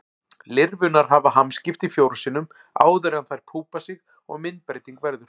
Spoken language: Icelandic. Lirfurnar hafa hamskipti fjórum sinnum áður en þær púpa sig og myndbreyting verður.